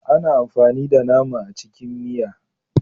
Ana amfani da nama a cikin miya.